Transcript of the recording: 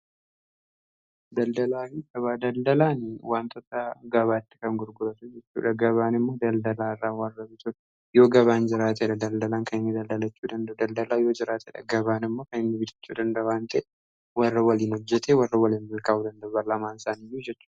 Daldalaan wantoota gabaatti kan gurguratu jechuudha. Gabaan immoo daldalaa irraa warra bitudhaa yoo gabaan jiraatedha daldalaan kan nnii daldalachuu danda'u. Daldalaan yoo jiraatedha. Gabaan immoo kan inni jiraachuu danda'u wanta warra waliin hojjate warra waliin milkaa'uu danda'u lamaan isaaniiyuu jechuudha.